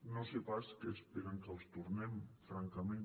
no sé pas què esperen que els tornem francament